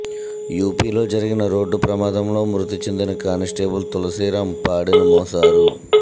యూపీలో జరిగిన రోడ్డు ప్రమాదంలో మృతి చెందిన కానిస్టేబుల్ తులసీరాం పాడెను మోశారు